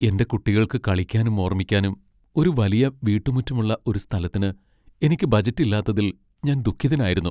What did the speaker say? എന്റെ കുട്ടികൾക്ക്‌ കളിക്കാനും ഓർമിക്കാനും ഒരു വലിയ വീട്ടുമുറ്റമുള്ള ഒരു സ്ഥലത്തിന് എനിക്ക് ബജറ്റ് ഇല്ലാത്തതിൽ ഞാൻ ദുഃഖിതനായിരുന്നു.